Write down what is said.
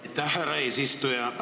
Aitäh, härra eesistuja!